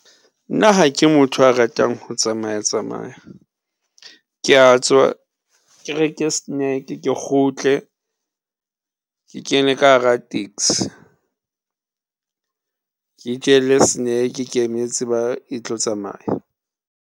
Nna ha ke motho a ratang ho tsamaya-tsamaya. Ke a tswa ke reke snack-e ke kgutle, ke kene ka hara taxi ke itjelle snack-e ke emetse e tlo tsamaya.